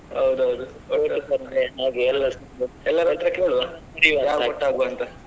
ಹೌದೌದು ಎಲ್ಲಾರತ್ರ ಕೇಳುವ ಅಂತ.